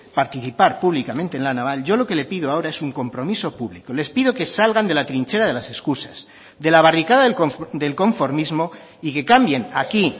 participar públicamente en la naval yo lo que le pido ahora es un compromiso público les pido que salgan de la trinchera de las excusas de la barricada del conformismo y que cambien aquí